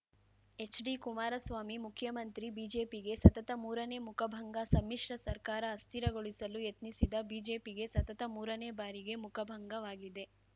ಎಚ್‌ಡಿಕುಮಾರಸ್ವಾಮಿ ಮುಖ್ಯಮಂತ್ರಿ ಬಿಜೆಪಿಗೆ ಸತತ ಮೂರನೇ ಮುಖಭಂಗ ಸಮ್ಮಿಶ್ರ ಸರ್ಕಾರ ಅಸ್ಥಿರಗೊಳಿಸಲು ಯತ್ನಿಸಿದ ಬಿಜೆಪಿಗೆ ಸತತ ಮೂರನೇ ಬಾರಿಗೆ ಮುಖಭಂಗವಾಗಿದೆ